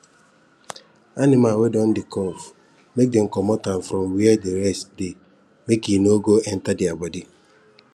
animal wey don dey cough make dem comot am from where the rest dey make e no go enter their body